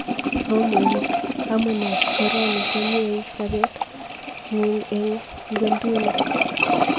Hormuz:amunee koroni konyei sopet ng'ung eng ng'wenduni